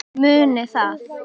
Munið það.